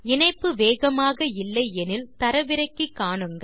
இணைப்பு வேகமாக இல்லை எனில் தரவிறக்கி காணுங்கள்